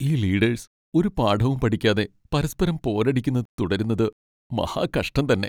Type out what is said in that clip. ഈ ലീഡേഴ്സ് ഒരു പാഠവും പഠിക്കാതെ പരസ്പരം പോരടിക്കുന്നത് തുടരുന്നത് മഹാകഷ്ടം തന്നെ.